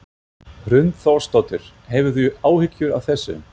Hrund Þórsdóttir: Hefurðu áhyggjur af þessu?